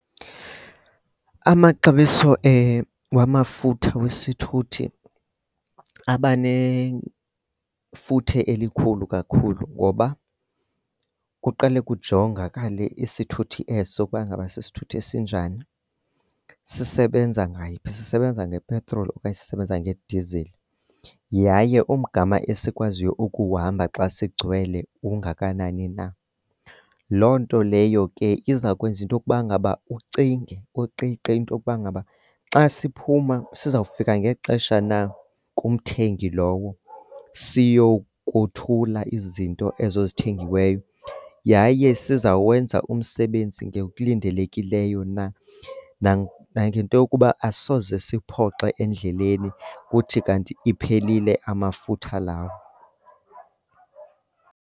Amaxabiso wamafutha wesithuthi abanefuthe elikhulu kakhulu ngoba kuqale kujongakale isithuthi eso ukuba ngaba sisithuthi esinjani. Sisebenza ngayiphi, sisebenza ngepetroli okanye sisebenza ngedizili, yaye umgama esikwaziyo ukuwuhamba xa sigcwele ungakanani na? Loo nto leyo ke izawukwenza into yokuba ngaba ucinge, uqiqe into yokuba ngaba xa siphuma sizawufika ngexesha na kumthengi lowo siyokothula izinto ezo zithengiweyo. Yaye sizawenza umsebenzi ngokulindelekileyo na, nangento yokuba asoze siphoxe endleleni kuthi kanti iphelile amafutha lawo.